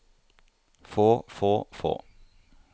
få få få